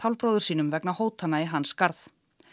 bróður sínum vegna hótana í hans garð